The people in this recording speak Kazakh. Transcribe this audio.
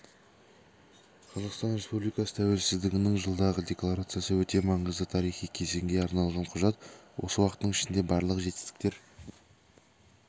қазақстан республикасы тәуелсіздігінің жылдығы декларациясы өте маңызды тарихи кезеңге арналған құжат осы уақыттың ішінде барлық жетістіктер